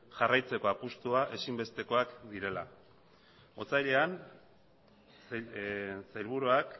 jarraitzeko apustua ezinbestekoak direla otsailean sailburuak